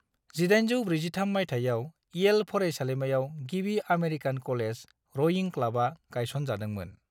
1843 मायथाइयाव, इयेल फरायसालिमायाव गिबि आमेरिकान कलेज रयिं क्लाबा गायसनजादोंमोन।